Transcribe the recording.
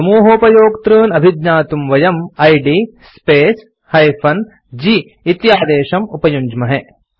समूहोपयोक्तॄन् अभिज्ञातुं वयम् id space - g इति आदेशं उपयुञ्ज्महे